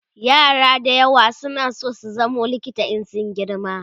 yara da yawa na San zama likita in sun girma